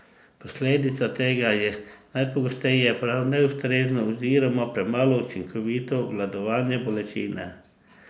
Posledica tega je najpogosteje prav neustrezno oziroma premalo učinkovito obvladovanje bolečine.